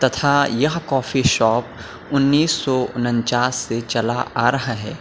हां यह coffee shop उन्नीस सौ उन्नचास से चला आ रहा है।